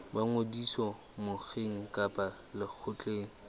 ba ngodiso mokgeng kapa lekgotleng